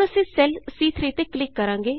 ਹੁਣ ਅਸੀਂ ਸੈੱਲ ਸੀ3 ਤੇ ਕਲਿਕ ਕਰਾਂਗੇ